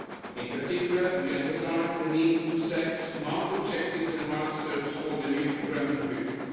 In particular, we emphasised the need to set smart objectives and milestones for the new programming period.